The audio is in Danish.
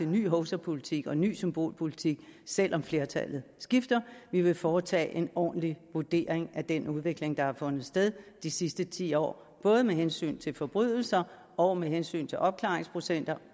ny hovsapolitik og ny symbolpolitik selv om flertallet skifter vi vil foretage en ordentlig vurdering af den udvikling der har fundet sted de sidste ti år både med hensyn til forbrydelser og med hensyn til opklaringsprocenter